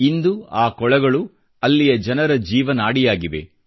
ಇಂದು ಆ ಕೊಳಗಳು ಅಲ್ಲಿಯ ಜನರ ಜೀವನಾಡಿಯಾಗಿವೆ